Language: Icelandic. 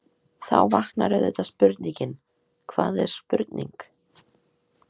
Þá vaknar auðvitað spurningin: hvað er spurning?.